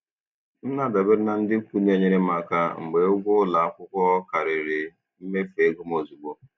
M na-adabere na ndị ikwu na-enyere m aka mgbe ụgwọ ụlọ akwụkwọ karịrị mmefu ego m ozugbo.